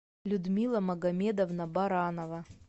людмила магомедовна баранова